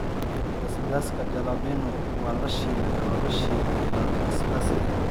Basbaaska Jalapeno waa la shiilay oo la shiilay laad basbaas leh.